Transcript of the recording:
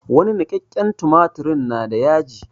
Wani niƙakƙen tumatirin na da yaji.